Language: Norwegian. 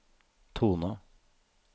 tone